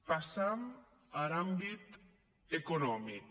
passam ar àmbit economic